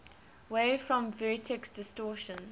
wave form vertex distortion